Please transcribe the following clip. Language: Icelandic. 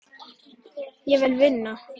Ég vil vinna.